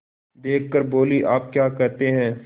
देख कर बोलीआप क्या कहते हैं